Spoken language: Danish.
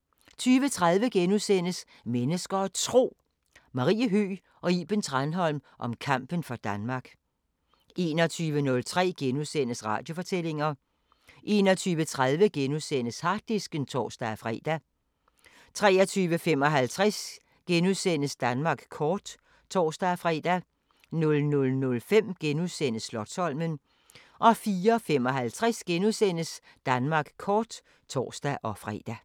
* 20:30: Mennesker og Tro: Marie Høgh og Iben Tranholm om kampen for Danmark * 21:03: Radiofortællinger * 21:30: Harddisken *(tor-fre) 23:55: Danmark kort *(tor-fre) 00:05: Slotsholmen * 04:55: Danmark kort *(tor-fre)